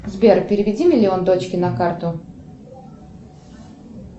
сбер переведи миллион дочке на карту